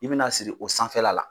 I bɛna siri o sanfɛla la.